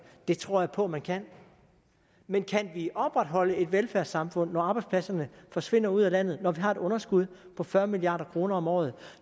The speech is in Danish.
det tror jeg på at man kan men kan vi opretholde et velfærdssamfund når arbejdspladserne forsvinder ud af landet når vi har et underskud på fyrre milliard kroner om året